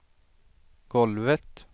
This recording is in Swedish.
golvet